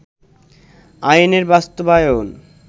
আইনের বাস্তবায়ন